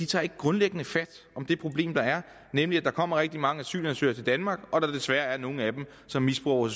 tager ikke grundlæggende fat om det problem der er nemlig at der kommer rigtig mange asylansøgere til danmark og at der desværre er nogle af dem som misbruger